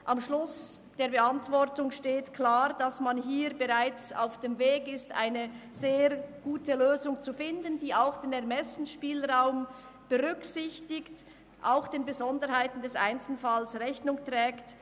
Am Schluss der Beantwortung wird klar gesagt, dass man bereits auf dem Weg ist, eine sehr gute Lösung zu finden, die dem Ermessensspielraum und den Besonderheiten des Einzelfalls Rechnung trägt.